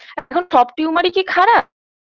এখন সব tumor -ই কি খারাপ